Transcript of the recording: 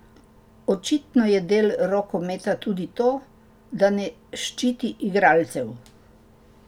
Očitno je del rokometa tudi to, da ne ščiti igralcev.